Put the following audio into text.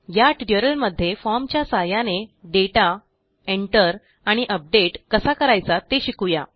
या ट्युटोरियलमध्ये formच्या सहाय्याने दाता Enter आणि अपडेट कसा करायचा ते शिकू या